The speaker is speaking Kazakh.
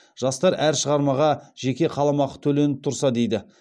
жастар әр шығармаға жеке қаламақы төленіп тұрса дейді